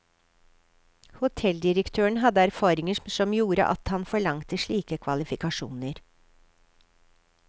Hotelldirektøren hadde erfaringer som gjorde at han forlangte slike kvalifikasjoner.